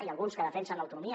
i alguns que defensen l’autonomia